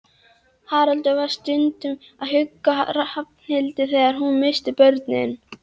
Haraldur var stundum að hugga Ragnhildi þegar hún missti börnin.